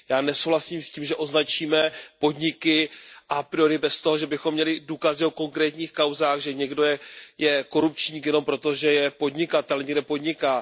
Já nesouhlasím s tím, že označíme podniky a priori bez toho, že bychom měli důkazy o konkrétních kauzách, že někdo je korupčník, jenom proto, že je podnikatel a že někde podniká.